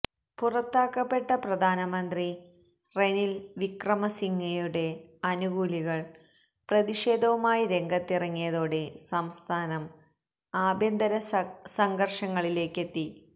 പുറത്താക്കപ്പെട്ട പ്രധാനമന്ത്രി റെനിൽ വിക്രമസിംഗയുടെ അനുകൂലികൾ പ്രതിഷേധവുമായി രംഗത്തിറങ്ങിയതോടെ സംസ്ഥാനം ആഭ്യന്തര സംഘർഷങ്ങളിലേക്കെത്തി